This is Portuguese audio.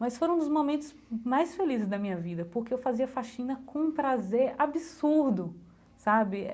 Mas foram um dos momentos mais felizes da minha vida, porque eu fazia faxina com um prazer absurdo, sabe?